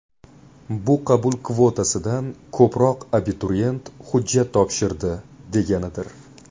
Bu qabul kvotasidan ko‘proq abituriyent hujjat topshirdi deganidir.